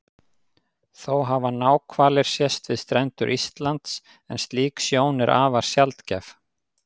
Þó hafa náhvalir sést við strendur Íslands en slík sjón er afar sjaldgæf.